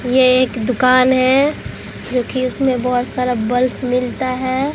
यह एक दुकान है जो कि उसमें बहुत सारा बल्ब मिलता है।